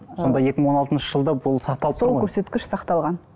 сонда екі мың он алтыншы жылда бұл сақталып тұр ғой сол көрсеткіш сақталған